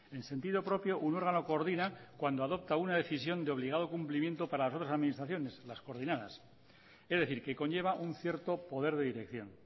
en sentido propio un órgano coordina cuando adopta una decisión de obligado cumplimiento para las otras administraciones las coordinadas es decir que conlleva un cierto poder de dirección